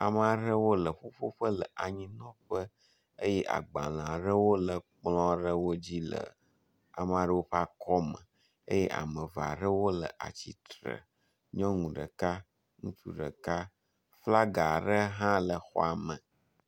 Ame aɖewo le ƒuƒoƒe le anyinɔƒɔ eye agbalẽ aɖewo le kplɔ̃ dzi le ame aɖewo ƒe akɔme eye ame eve aɖewo le atsitre. Nyɔnu ɖeka, ŋutsu ɖeka, flaga aɖe hã le xɔa me.